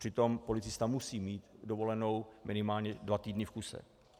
Přitom policista musí mít dovolenou minimálně dva týdny v kuse.